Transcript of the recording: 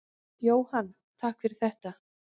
Jóhann: Takk fyrir þetta.